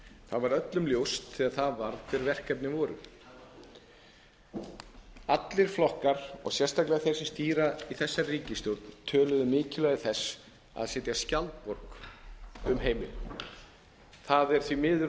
það var öllum ljóst þegar það varð hver verkefnin voru allir flokkar og sérstaklega þeir sem stýra í þessari ríkisstjórn töluðu um mikilvægi þess að setja skjaldborg um heimilin það er því miður